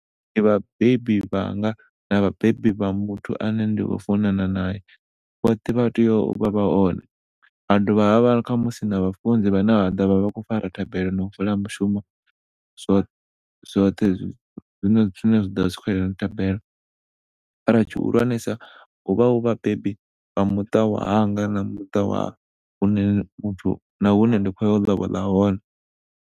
Ndi vhabebi vhanga na vhabebi vha muthu ane ndi kho funana nae. Vhoṱhe vha tea uvha vha hone, ha dovha khamusi na vhafunzi vhane vhaḓovha vha kho fara thabelo ya mushumo zwoṱhe zwine zwa vha zwi kho yelana na thabelo. Mara tshihulwanesa huvha hu vhabebi vha muṱa wa hanga na muṱa wa hune muthu na hune nda khoya u lobola hone.